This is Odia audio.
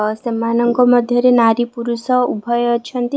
ଅ ସେମାନଙ୍କ ମଧ୍ୟରେ ନାରୀ ପୁରଷ ଉଭୟ ଅଛନ୍ତି ।